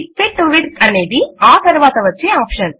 fit to width అనేది ఆ తరువాత వచ్చే ఆప్షన్